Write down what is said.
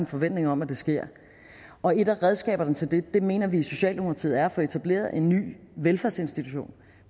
forventning om at det sker og et af redskaberne til det mener vi i socialdemokratiet er at få etableret en ny velfærdsinstitution